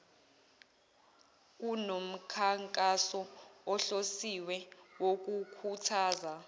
kunomkhankaso ohlosiwe wokukhuthaza